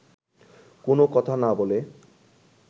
কোনও কথা না বলে